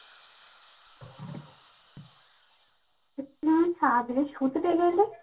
তুই শুতে চাই বললে